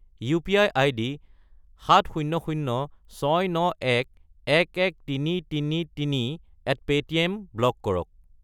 UPI. ID 700,691,11333@paytm block কৰক।